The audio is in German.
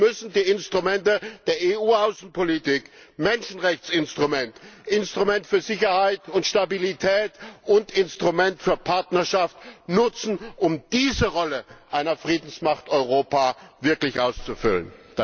Wir müssen die Instrumente der EU Außenpolitik Menschenrechtsinstrument, Instrument für Sicherheit und Stabilität und Instrument für Partnerschaft nutzen, um diese Rolle einer Friedensmacht Europa wirklich auszufüllen!